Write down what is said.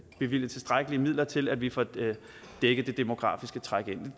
bevilget tilstrækkelige midler til at vi får dækket det demografiske træk ind